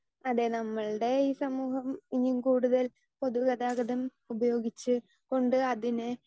speaker 2 അതെ നമ്മുടെ ഈ സമൂഹം ഇനിയും കൂടുതൽ പൊതുഗതാഗതം ഉപയോഗിച്ച്‌ കൊണ്ട് അതിനെ